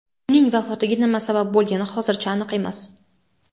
Uning vafotiga nima sabab bo‘lgani hozircha aniq emas.